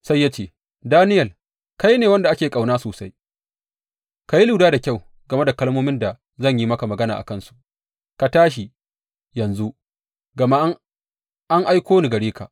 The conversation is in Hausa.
Sai ya ce, Daniyel, kai ne wanda ake ƙauna sosai, ka yi lura da kyau game da kalmomin da zan yi maka magana a kansu, ka tashi yanzu, gama an aiko ni a gare ka.